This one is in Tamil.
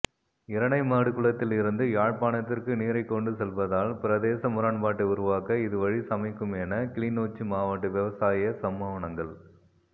இரணைமடுக்குளத்தில் இருந்து யாழ்ப்பாணத்திற்கு நீரைக்கொண்டு செல்வதால் பிரதேச முரண்பாட்டை உருவாக்க இது வழி சமைக்குமென கிளிநொச்சி மாவட்ட விவசாய சம்மேளனங்கள்